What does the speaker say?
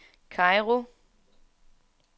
Kairo